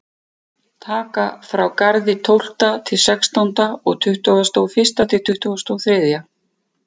Taka frá á Garði tólfta til sextánda og tuttugasta og fyrsta til tuttugasta og þriðja.